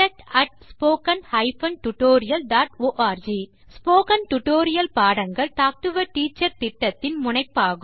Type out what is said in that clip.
contact spoken hyphen tutorial dot org spoken tutorial பாடங்கள் talk to a teacher திட்டத்தின் முனைப்பாகும்